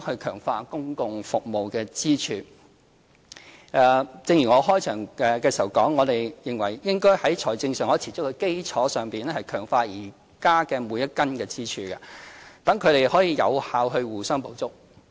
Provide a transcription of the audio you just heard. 強化公共服務支柱正如我在開場發言指出，我們認為應該在財政上可持續的基礎上，強化現時的每根支柱，讓它們更有效地互相補足。